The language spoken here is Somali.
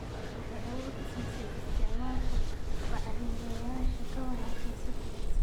Waxay awood u siisay isticmaalka bacrimiyeyaasha ka wanaagsan si fudud.